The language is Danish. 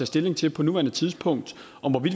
stilling til på nuværende tidspunkt om